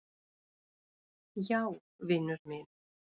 Já, vinur minn.